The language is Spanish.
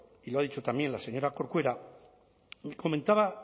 y lo ha dicho también la señora corcuera me comentaba